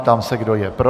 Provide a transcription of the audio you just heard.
Ptám se, kdo je pro.